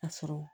A sɔrɔ